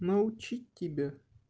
научить тебя